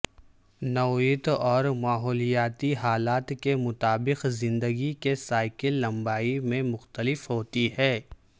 نوعیت اور ماحولیاتی حالات کے مطابق زندگی کے سائیکل لمبائی میں مختلف ہوتی ہے